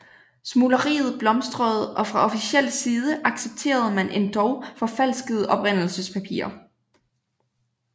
Smugleriet blomstrede og fra officiel side accepterede man endog forfalskede oprindelsespapirer